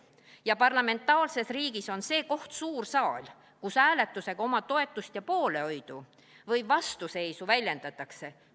Ja parlamentaarses riigis on see koht suur saal, kus hääletusega oma toetust ja poolehoidu või vastuseisu väljendatakse.